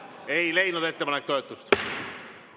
Ettepanek ei leidnud toetust.